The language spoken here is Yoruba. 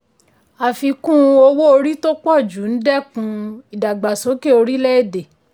àfikún owó orí tó pọ̀ ju ń dẹ́kun ìdàgbàsókè orílẹ̀-èdè.